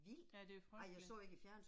Ja det er frygteligt